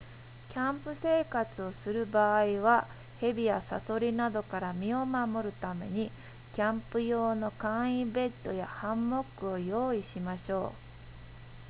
キャンプ生活をする場合は蛇やサソリなどから身を守るためにキャンプ用の簡易ベッドやハンモックを用意しましょう